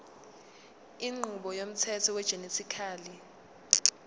inqubo yomthetho wegenetically